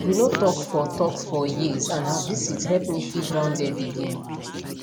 we no talk for talk for years and her visit help me feel grounded again